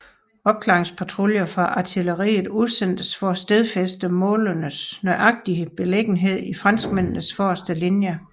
Opklaringspatruljer fra artilleriet udsendtes for at stedfæste målenes nøjagtige beliggenhed i franskmændenes forreste linje